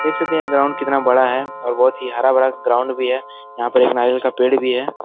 देख सकते है ग्राउंड कितना बड़ा है और बहोत ही हरा-भरा ग्राउंड भी है यहाँ पर एक नारियल का पेड़ भी है।